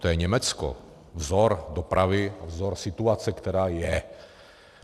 To je Německo, vzor dopravy, vzor situace, která je.